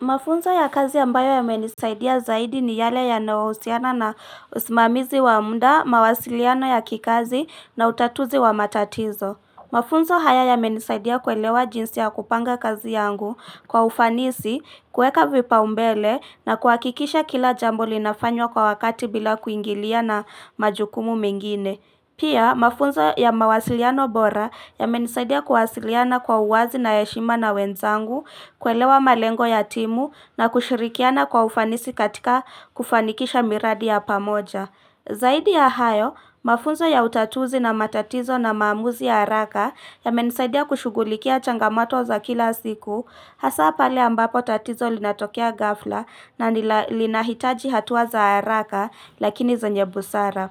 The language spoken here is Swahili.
Mafunzo ya kazi ambayo yamenisaidia zaidi, ni yale ya nayohusiana na usimamizi wa muda, mawasiliano ya kikazi na utatuzi wa matatizo. Mafunzo haya yamenisaidia kuelewa jinsi ya kupanga kazi yangu kwa ufanisi, kuweka vipaumbele na kuhakikisha kila jambo linafanywa kwa wakati bila kuingilia na majukumu mengine. Pia, mafunzo ya mawasiliano bora yamenisaidia kuwasiliana kwa uwazi na heshima na wenzangu, kuelewa malengo ya timu na kushirikiana kwa ufanisi katika kufanikisha miradi ya pamoja. Zaidi ya hayo, mafunzo ya utatuzi na matatizo na maamuzi ya haraka, yamenisaidia kushugulikia changamato za kila siku, hasaa pale ambapo tatizo linatokea ghafla na linahitaji hatua za haraka, lakini zenye busara.